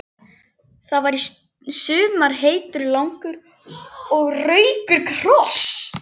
Það var í sumar heitur, langur og rakur koss.